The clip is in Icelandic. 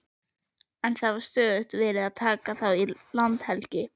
En það var stöðugt verið að taka þá í landhelgi.